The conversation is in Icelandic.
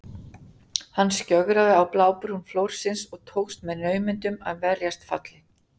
Hann skjögraði á blábrún flórsins og tókst með naumindum að verjast falli.